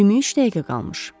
23 dəqiqə qalmış.